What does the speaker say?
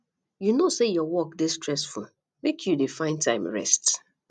you know sey your work dey stressful make you dey find time rest